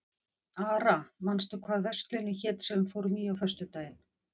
Ara, manstu hvað verslunin hét sem við fórum í á föstudaginn?